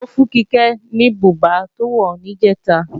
Taló fún Kíkẹ́ ní bùbá tó wọ̀ níjẹ̀ta